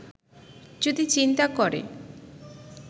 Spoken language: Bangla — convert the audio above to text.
যদি চিন্তা করে